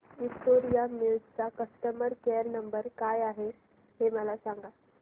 Victoria mills चा customer care number काय आहे हे मला सांगा